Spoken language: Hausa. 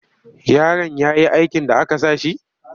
Yarin ya yi aikin da aka sa shi?